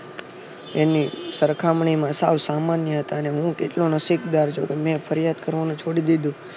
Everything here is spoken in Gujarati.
એની સરખામણીમાં સાવ સામાન્ય હતા અને હું કેટલો નસીબદાર ચુ કે મેં ફરિયાદ કરવાનું છોડી દીધું